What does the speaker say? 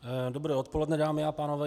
Dobré odpoledne, dámy a pánové.